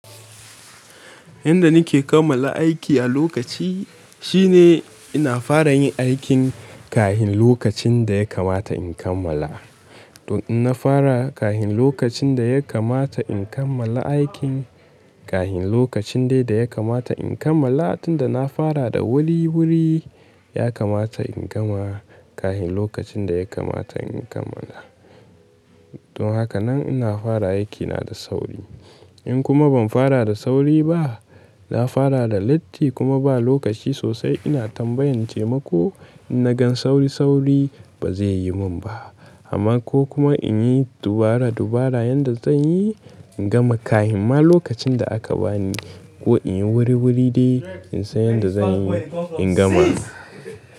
Yanda nake kammala aiki a lokaci shine ina fara yin aikin kahin lokacin da ya kamata in kammala. To in na fara kahin lokacin da ya kamata in kammala aikin, kahin lokacin dai da ya kamata in kammala tunda na fara da wuri-wuri ya kamata in gama kahin lokacin da ya kamata in kammala. Don haka nan ina fara aikina da sauri. In kuma ban fara da sauri ba, na fara da latti kuma ba lokaci sosai ina tambayantaima ko in na gan sauri-sauri ba zai yi min ba. Amma ko kuma in yi dubara-dubara yanda zan yi in gama kahin ma lokacin da aka bani ko in yi wuri-wuri dai in san yanda zan yi in gama.